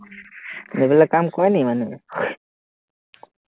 এইবিলাক কাম কৰে নেকি মানুহে